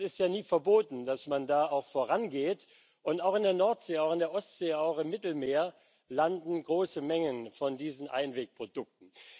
Das ist ja nie verboten, dass man da auch vorangeht. Und auch in der Nordsee, auch in der Ostsee, auch im Mittelmeer landen große Mengen von diesen Einwegprodukten.